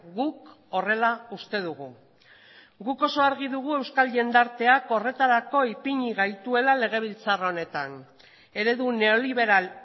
guk horrela uste dugu guk oso argi dugu euskal jendarteak horretarako ipini gaituela legebiltzar honetan eredu neoliberal